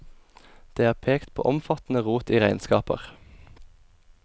Det er pekt på omfattende rot i regnskaper.